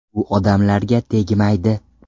U odamlarga tegmaydi’ ”.